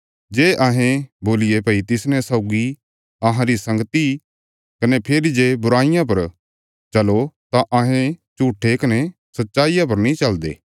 जे अहें बोलिये भई तिसने सौगी अहांरी संगती कने फेरी जे बुराईया पर चलो तां अहें झूट्ठे कने सच्चाईया पर नीं चलदे